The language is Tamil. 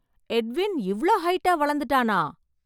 எட்வின் இவ்ளோ ஹைட்டா வளந்துட்டானா!